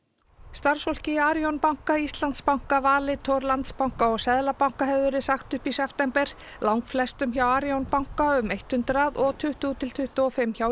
starfsfólki í Arion banka Íslandsbanka Valitor Landsbanka og Seðlabanka hefur verið sagt upp í september langflestum hjá Arion banka um hundrað og tuttugu til tuttugu og fimm hjá